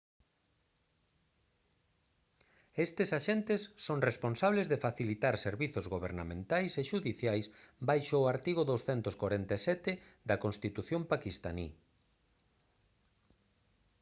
estes axentes son responsables de facilitar servizos gobernamentais e xudiciais baixo o artigo 247 da constitución paquistaní